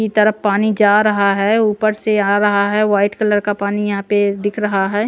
की तरफ पानी जा रहा है ऊपर से आ रहा है वाइट कलर का पानी यहाँ पे दिख रहा है।